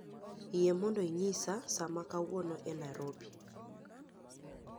Yie mondo ing'esa saa ma kawuono e Nairobi